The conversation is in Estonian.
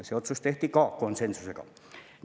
See otsus tehti ka konsensusega.